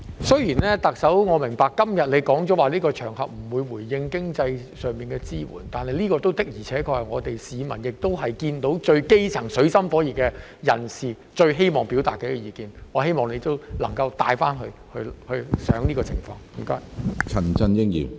雖然我明白，特首今天說過不會在這個場合就經濟支援作回應，但這的確是處於水深火熱的基層市民最希望表達的意見，我希望特首回去能夠加以考慮。